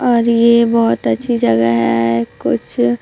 और ये बहोत अच्छी जगह है कुछ--